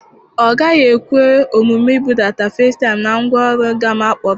Ọ gaghị ekwe omume ibudata facetime na ngwaọrụ gam akporo.